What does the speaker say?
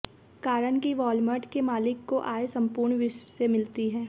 कारण कि वालमार्ट के मालिक को आय संपूर्ण विश्व से मिलती है